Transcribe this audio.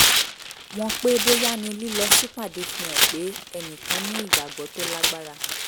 wọn pé bóyá ni lílọ sípàdé fi hàn pé ẹnì kan ní ìgbàgbọ́ tó lágbára